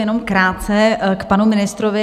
Jenom krátce k panu ministrovi.